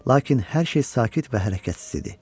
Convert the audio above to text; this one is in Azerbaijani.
Lakin hər şey sakit və hərəkətsiz idi.